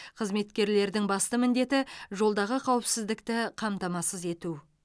қызметкерлердің басты міндеті жолдағы қауіпсіздікті қамтамасыз ету